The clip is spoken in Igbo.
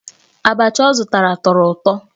Abachi ọ zụtara tọrọ ụtọ.